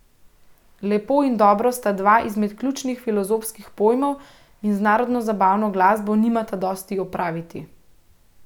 Lepo in dobro sta dva izmed ključnih filozofskih pojmov in z narodnozabavno glasbo nimata dosti opraviti.